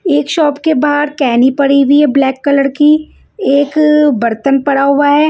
एक शॉप के बाहर केनी पड़ी हुई है ब्लैक कलर की एक बर्तन पड़ा हुआ है।